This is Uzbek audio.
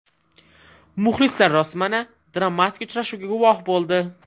Muxlislar rostmana dramatik uchrashuvga guvoh bo‘ldi.